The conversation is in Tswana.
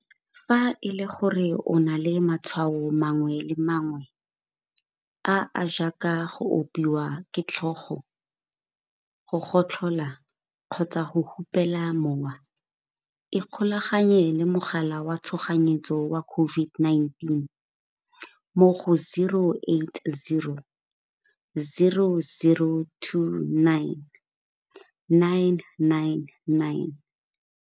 Fa e le gore o na le matshwao mangwe le mangwe, a a jaaka go opiwa ke tlhogo, go gotlhola kgotsa go hupela mowa, ikgolaganye le mogala wa tshoganyetso wa COVID-19 mo go 0800 029 999.